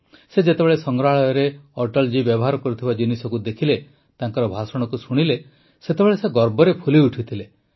ସେ ଯେତେବେଳେ ସଂଗ୍ରହାଳୟରେ ଅଟଳ ଜୀ ବ୍ୟବହାର କରୁଥିବା ଜିନିଷକୁ ଦେଖିଲେ ତାଙ୍କର ଭାଷଣକୁ ଶୁଣିଲେ ସେତେବେଳେ ସେ ଗର୍ବରେ ଫୁଲିଉଠିଥିଲେ